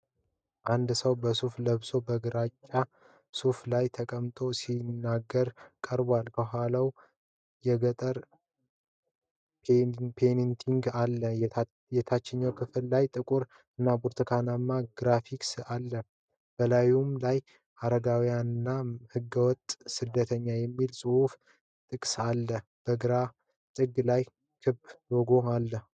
አንድ ሰው በሱፍ ለብሶ በግራጫ ሶፋ ላይ ተቀምጦ ሲናገር ቀርቧል። ከኋላው የገጠር ፔይንቲንግ አለ። የታችኛው ክፍል ላይ ጥቁር እና ብርቱካንማ ግራፊክስ አለ። በላዩም ላይ "ሕጋዊና ህገወጥ ስደት"የሚል ጽሑፍና ጥቅስ ተጽፏል። በግራ ጥግ ላይ ክብ ሎጎ አለው።